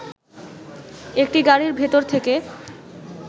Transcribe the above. একটি গাড়ির ভেতর থেকে